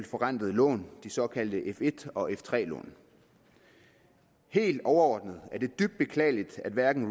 forrentede lån de såkaldte f1 og f3 lån helt overordnet er det dybt beklageligt at hverken